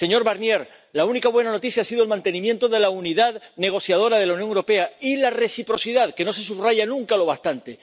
Señor Barnier, la única buena noticia ha sido el mantenimiento de la unidad negociadora de la Unión Europea y la reciprocidad, que no se subraya nunca lo bastante.